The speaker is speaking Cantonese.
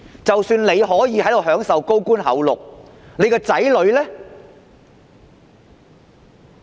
即使官員可以在這裏享受高官厚祿，他們的子女呢？